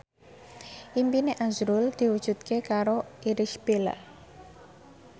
impine azrul diwujudke karo Irish Bella